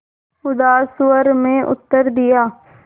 उदास स्वर में उत्तर दिया